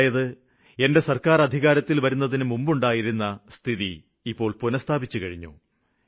അതായത് എന്റെ സര്ക്കാര് നിലവില് വരുന്നതിനുമുമ്പുള്ള സ്ഥിതി ഇപ്പോള് പുനസ്ഥാപിച്ചും കഴിഞ്ഞു